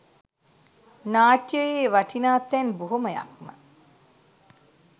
නාට්‍යයේ වටිනා තැන් බොහොමයක් ම.